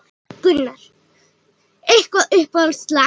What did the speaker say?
Gunnar: Eitthvað uppáhalds lag?